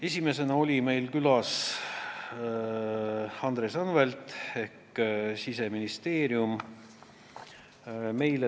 Esimesena oli meil külas Andres Anvelt ehk Siseministeerium.